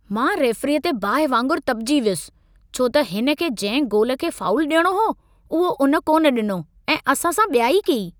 मां रेफरीअ ते बाहि वांगुर तपिजी वियुसि! छो त हिन के जंहिं गोल खे फ़ाउल ॾियणो हो, उहो उन कोन्ह ॾिनो ऐं असां सां ॿियाई कई।